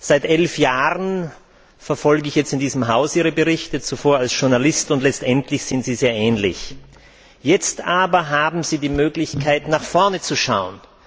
Seit 11 Jahren verfolge ich in diesem Haus Ihre Berichte davor als Journalist und letztendlich sind sie sehr ähnlich. Jetzt aber haben Sie die Möglichkeit, nach vorne zu schauen.